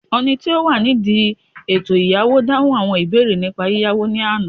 oni ti o wa nidi eto iyawo dahun awọn ibeere nipa yiyawo ni Ana